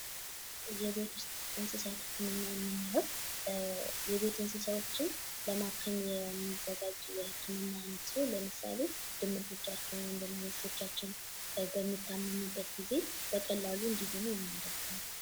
የቤት ውስጥ ህክምና የምንለው የቤት ውስጥ እንስሳትን ለማከም የሚያገለግል ሲሆን ለምሳሌ ድመቶች በሚታመሙበት ጊዜ በቀላሉ እንዲድኑ የሚያደርግ ነው።